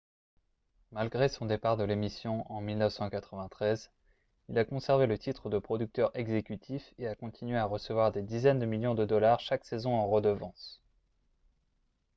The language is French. malgré son départ de l'émission en 1993 il a conservé le titre de producteur exécutif et a continué à recevoir des dizaines de millions de dollars chaque saison en redevances